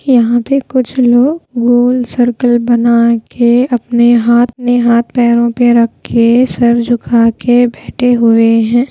यहां पे कुछ लोग गोल सर्कल बना के अपने हाथ में हाथ पैरों पे रखे के सर झुका के बैठे हुए हैं।